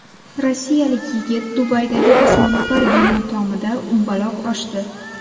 Rossiyalik yigit Dubaydagi osmono‘par bino tomida umbaloq oshdi .